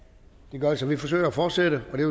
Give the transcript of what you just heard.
virker så vi forsøger at fortsætte